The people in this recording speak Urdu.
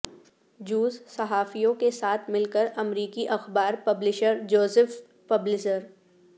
جوز صحافیوں کے ساتھ مل کر امریکی اخبار پبلیشر جوزف پبلزر